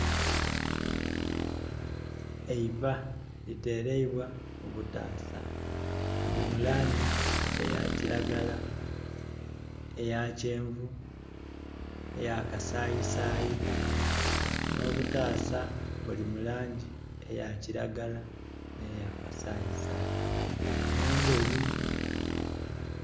Eiva litereibwa mu butaasa Buli mu langi eya kiragala, eya kyenvu, n'eya kasayisayi. Nh'obutaasa bulimu langi eya kiragala neya kasayisayi n'endheru.